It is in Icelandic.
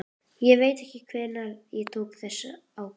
Ég veit hvenær ég tók þá ákvörðun.